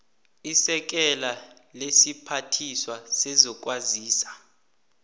isekela lesiphathiswa sezokwazisa